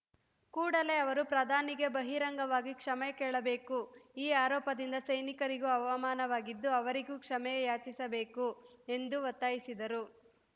ಕೂಡಲೇ ಅವರು ಪ್ರಧಾನಿಗೆ ಬಹಿರಂಗವಾಗಿ ಕ್ಷಮೆ ಕೇಳಬೇಕು ಈ ಆರೋಪದಿಂದ ಸೈನಿಕರಿಗೂ ಅವಮಾನವಾಗಿದ್ದು ಅವರಿಗೂ ಕ್ಷಮೆ ಯಾಚಿಸಬೇಕು ಎಂದು ಒತ್ತಾಯಿಸಿದರು